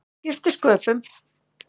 Það skipti sköpum.